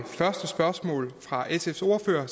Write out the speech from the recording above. første spørgsmål fra sfs ordfører